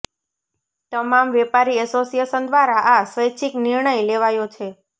તમામ વેપારી એસોસિએશન દ્વારા આ સ્વૈચ્છિક નિર્ણય લેવાયો છે